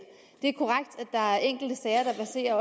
der er enkelte sager der verserer